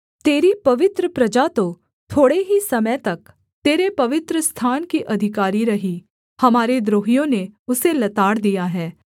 तेरी पवित्र प्रजा तो थोड़े ही समय तक तेरे पवित्रस्थान की अधिकारी रही हमारे द्रोहियों ने उसे लताड़ दिया है